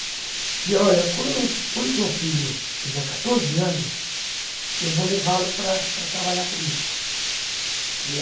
Dizia, olha, quando quando o seu filho tiver quatorze anos, eu vou levá-lo para para trabalhar comigo que é